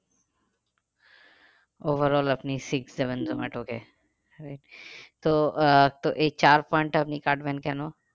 Overall আপনি six seven জোমাটোকে তো আহ তো এই চার point আপনি কাটবেন কেন?